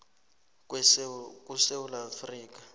kusewula